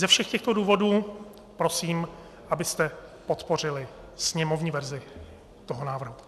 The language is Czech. Ze všech těchto důvodů prosím, abyste podpořili sněmovní verzi toho návrhu.